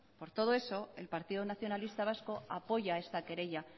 por todo eso el partido nacionalista vasco apoya esta querella